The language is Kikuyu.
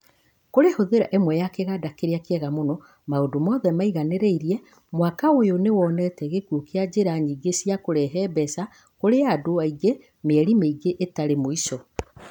Kũrĩ hũthĩra ĩmwe ya kĩganda kĩrĩa kĩega mũno maũndo mothe maigananĩirie, mwaka ũyũ nĩwonete gĩkũo kĩa njĩra nyingĩ cia kũrehe mbeca kũrĩ andũ aingĩ mĩeri mĩingi ĩtarĩ mũico.